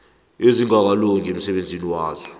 ezingakalungi emsebenzini waso